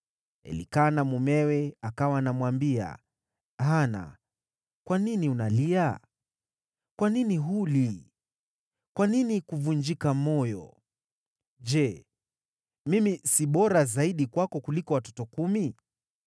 Elikana mumewe akawa anamwambia, “Hana, kwa nini unalia? Kwa nini huli? Kwa nini kuvunjika moyo? Je, mimi si bora zaidi kwako kuliko watoto kumi?”